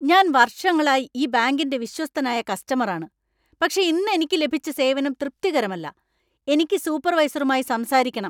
ഞാൻ വർഷങ്ങളായി ഈ ബാങ്കിന്‍റെ വിശ്വസ്തനായ കസ്റ്റമറാണ്, പക്ഷേ ഇന്ന് എനിക്ക് ലഭിച്ച സേവനം തൃപ്തികരമല്ല. എനിക്ക് സൂപ്പർവൈസറുമായി സംസാരിക്കക്കണം .